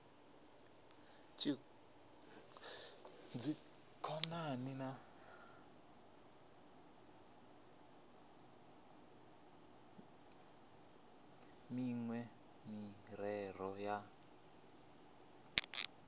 dzikhonani na miṅwe miraḓo ya